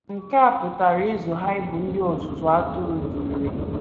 Nke a pụtara ịzụ ha ịbụ ndị ọzụzụ atụrụ dị irè.